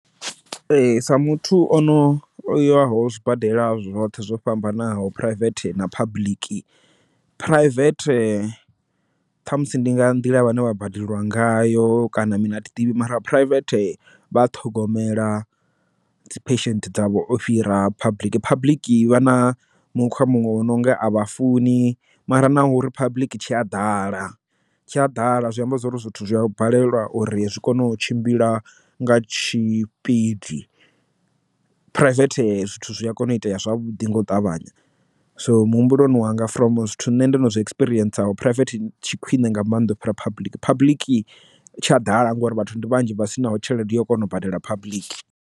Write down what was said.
Ee sa muthu ono yoyaho zwibadela zwoṱhe zwo fhambanaho private na public, private ṱhamusi ndi nga nḓila vhane vha badeliwa ngayo kana mi na thiḓivhi mara private vha ṱhogomela dzi phesenthe dzavho o fhira public public i vha na mukhwa muṅwe o no nga a vha funi mara naho public tshi a ḓala tshi a ḓala zwi amba zwori zwithu zwi a balelwa uri zwi kone u tshimbila nga tshi pmb phuraivethe zwithu zwi a kona u itea zwavhuḓi nga u ṱavhanya so muhumbuloni wanga from zwithu nṋe ndo no zwi ecperienceho private tshi khwiṋe nga mannḓa u fhira public public tsha ḓala ngori vhathu vhanzhi vha sinaho tshelede yo kona u badela public.